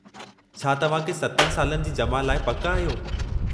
छा तव्हांखे 7 सालनि जी जमा लाइ पकि आहियो?